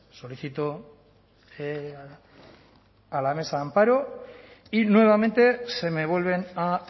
solicito a la mesa amparo y nuevamente se me vuelven a